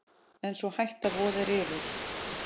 En sú hætta vofir yfir.